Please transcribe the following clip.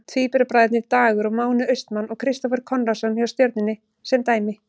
Tvíburabræðurnir Dagur og Máni Austmann og Kristófer Konráðsson hjá Stjörnunni sem dæmi.